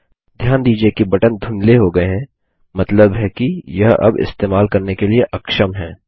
ध्यान दीजिये कि बटन धुंधले हो गये हैं मतलब है कि यह अब इस्तेमाल करने के लिए अक्षम हैं